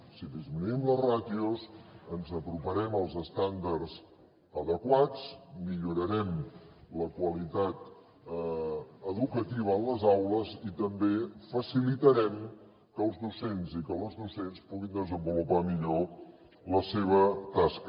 si disminuïm les ràtios ens aproparem als estàndards adequats millorarem la qualitat educativa a les aules i també facilitarem que els docents i que les docents puguin desenvolupar millor la seva tasca